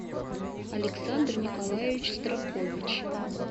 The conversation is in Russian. александр николаевич стракович